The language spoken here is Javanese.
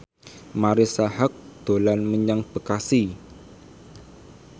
Marisa Haque dolan menyang Bekasi